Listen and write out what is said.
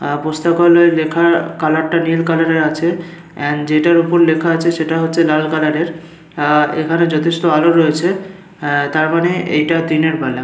আহ পুস্তাকালয় লেখার কালার টা নীল কালারের আছে এন্ড যেটার ওপর লেখা আছে সেটা হচ্ছে লাল কালারের আহ এইখানে যথেষ্ট আলো রয়েছে আহ তার মানে এইটা দিনের বেলা।